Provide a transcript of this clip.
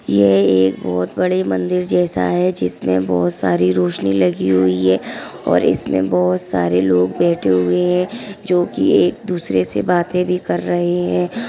ये एक बहुत बड़ी मंदिर जैसा है। जिसमे बहुत सारी रोशनी लगी हुई है और इसमे बहुत सारे लोग बैठे हुए है। जो क एक दूसरे से बाते भी कर रहे है।